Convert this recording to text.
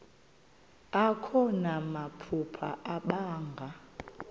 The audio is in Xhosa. akho namaphupha abanga